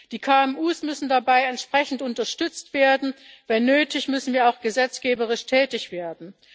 Die KMU müssen dabei entsprechend unterstützt werden, nötigenfalls müssen wir auch gesetzgeberisch tätig werden.